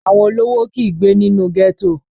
Àwọn olówó kìí gbé nínú ghetto